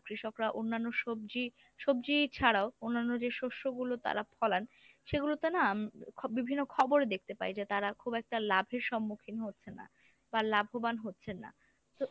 কৃষকরা অন্যান্য সবজি সবজি ছাড়াও অন্যান্য যে শস্য গুলো তারা ফলান, সেগুলোতে না উম খ বিভিন্ন খবরে দেখতে পাই যে তারা খুব একটা লাভের সম্মুখীন হচ্ছেন না বা লাভবান হচ্ছেন না। তো